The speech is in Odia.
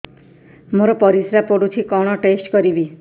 ମୋର ପରିସ୍ରା ପୋଡୁଛି କଣ ଟେଷ୍ଟ କରିବି